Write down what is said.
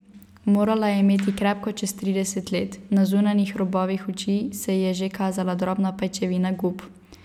Morala je imeti krepko čez trideset let, na zunanjih robovih oči se ji je že kazala drobna pajčevina gub.